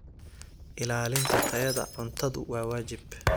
Ilaalinta tayada cuntadu waa waajib.